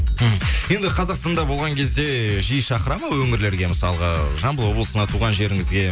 мхм енді қазақстанда болған кезде жиі шақыра ма өңірлерге мысалға жамбыл облысына туған жеріңізге